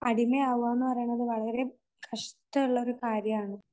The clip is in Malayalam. അടിമ ആവുക എന്ന് പറയുന്നത് വളരെ കഷ്ടം ഉള്ള ഒരു കാര്യമാണ്